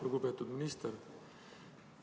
Lugupeetud minister!